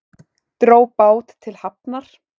Dró bát til hafnar